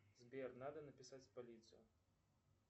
сбер надо написать в полицию